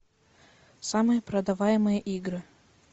самые продаваемые игры